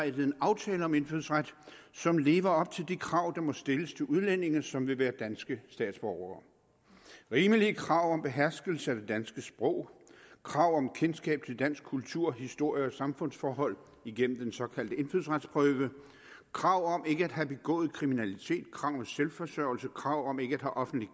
en aftale om indfødsret som lever op til de krav der må stilles til udlændinge som vil være danske statsborgere rimelige krav om beherskelse af det danske sprog krav om kendskab til dansk kultur historie og samfundsforhold igennem den såkaldte indfødsretsprøve krav om ikke at have begået kriminalitet krav om selvforsørgelse krav om ikke at have offentlig